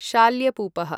शाल्यपूपः